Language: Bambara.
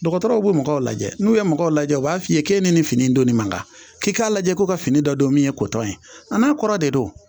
Dɔgɔtɔrɔw be mɔgɔw lajɛ n'u ye mɔgɔw lajɛ u b'a f'i ye ke ni nin fini in donni man gan k'i k'a lajɛ ko ka fini dɔ don min ye kotɔn ye a n'a kɔrɔ de don